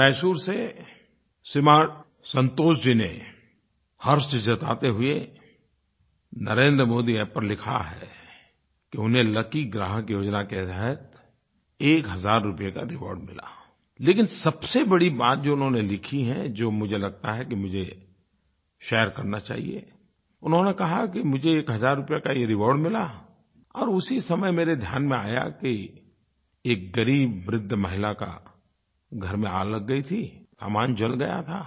मैसूर से श्रीमान संतोष जी ने हर्ष जताते हुए NarendraModiApp पर लिखा है कि उन्हें लकी ग्राहक योजना के तहत एक हज़ार रुपये का रिवार्ड मिलाI लेकिन सबसे बड़ी बात जो उन्होंने लिखी है जो मुझे लगता है कि मुझे शेयर करना चाहिए उन्होंने कहा कि मुझे एक हज़ार रुपये का ये रिवार्ड मिला और उसी समय मेरे ध्यान में आया कि एक ग़रीब वृद्ध महिला के घर में आग लग गई थी सामान जल गया था